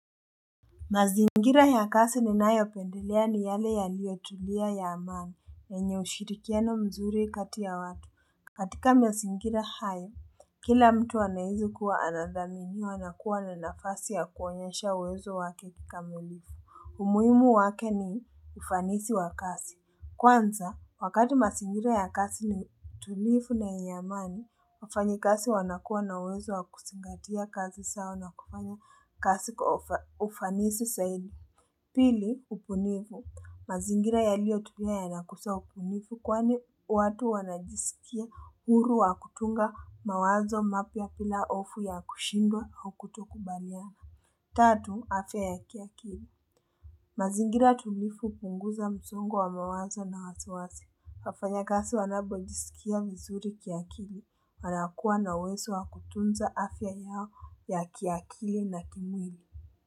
Mazingira ya kasi ni nayo pendelea ni yale yaliyo tulia ya amani yenye ushirikiano mzuri kati ya watu katika mizingira hayo, kila mtu anaihisi kuwa anadhaminiwa na kuwa na nafasi ya kuwanyesha uwezo wake kikamilifu umuimu wake ni ufanisi wa kazi Kwanza, wakati mazingira ya kasi ni tulivu na ya amani, wafanyi kazi wanakua na wezo wa kuzingatia kazi zao na kufanya kasi kufanisi zaidi. Pili, ubunifu. Mazingira ya liyo tulia ya nakusa ubunifu kwani watu wanajisikia huru wa kutunga mawazo mapya pila hofu ya kushindwa haukutokubaliana. Tatu, afya ya kiakili. Mazingira tulivu punguza mzongo wa mawazo na hasawazi. Hafanya kasi wanabojisikia vizuri kiakili. Wanakuwa na uwezo wa kutunza afya yao ya kiakili na kimwili.